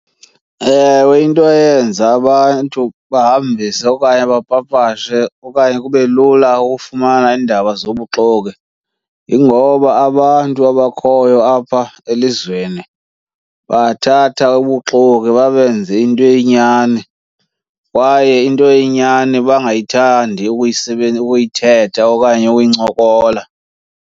Ewe, into eyenza abantu bahambise okanye bapapashe okanye kube lula ukufumana iindaba zobuxoki yingoba abantu abakhoyo apha elizweni bathatha ubuxoki babenze into eyinyani, kwaye into eyinyani bangayithandi ukuyithetha okanye ukuyincokola.